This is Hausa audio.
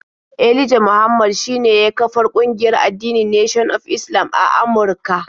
Elijah Muhammad shine ya kafar kungiyar addinin Nation of Islam a Amurka.